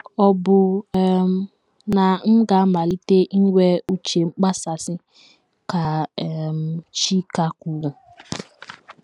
“ Ọ bụ um na m ga - amalite inwe ‘ uche mkpasasị, ’” ka um Chika kwuru.